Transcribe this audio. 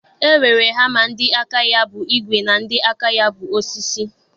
E nwere Hama ndị aka ya bụ igwe na ndị aka ya bụ osisi.